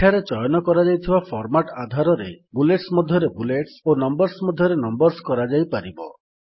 ଏଠାରେ ଚୟନ କରାଯାଇଥିବା ଫର୍ମାଟ୍ ଆଧାରରେ ବୁଲେଟ୍ସ ମଧ୍ୟରେ ବୁଲେଟ୍ସ ଓ ନମ୍ୱର୍ସ ମଧ୍ୟରେ ନମ୍ୱର୍ସ କରାଯାଇପାରିବ